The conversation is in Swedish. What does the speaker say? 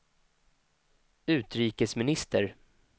utrikesminister